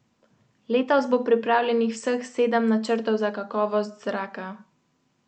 Pri nas je vedno manj dela, ker je manj denarja, plačilna disciplina je slaba.